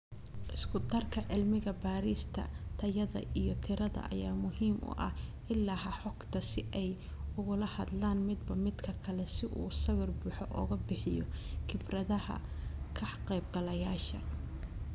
Isku darka cilmi baarista tayada iyo tirada ayaa muhiim u ah ilaha xogta si ay ugula hadlaan midba midka kale si uu sawir buuxa uga bixiyo khibradaha ka qaybgalayaasha.